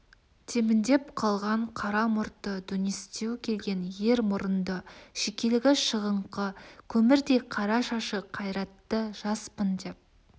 тебіндеп қалған қара мұрты дөңестеу келген ер мұрынды шекелігі шығыңқы көмірдей қара шашы қайратты жаспын деп